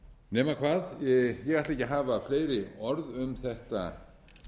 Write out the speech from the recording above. nema hvað ég ætla ekki að hafa fleiri orð um þetta